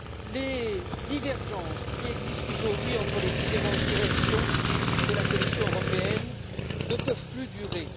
Les divergences qui existent aujourd'hui entre les directions de la Commission européenne ne peuvent plus durer.